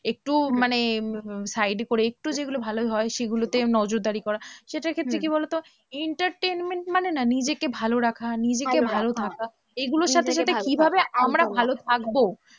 একটু মানে উম side করে একটু যেগুলো ভালো হয় সেগুলোতে নজরদারি করা, সেটার ক্ষেত্রে কি বলো তো? entertainment মানে না নিজেকে ভালো রাখা, নিজেকে ভালো থাকা, এগুলোর সাথে সাথে কিভাবে আমরা ভালো থাকবো?